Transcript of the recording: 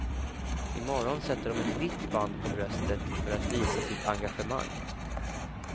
I morgon sätter de ett vitt band på bröstet för att visa sitt engagemang.